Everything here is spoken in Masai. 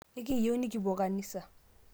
ekiiyeu nikipuo kanisa